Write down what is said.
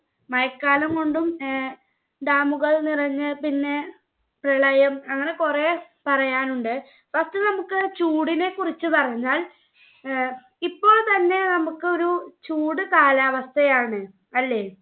മഴക്കാലം കൊണ്ടും ഏർ dam ഉകൾ നിറഞ്ഞേൽ പിന്നെ പ്രളയം അങ്ങനെ കൊറേ പറയാനുണ്ട്. first നമ്മുക്ക് ചൂടിനെക്കുറിച്ച് പറഞ്ഞാൽ ഏർ ഇപ്പോൾത്തന്നെ നമ്മുക്കൊരു ചൂട് കാലാവസ്ഥയാണ് അല്ലെ?